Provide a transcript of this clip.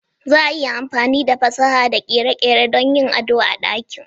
Za a iya amfani da fasaha da kere-kere don yin ado da ɗakin.